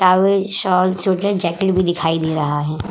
Towel शाल sweater jacket भी दिखाई दे रहा है।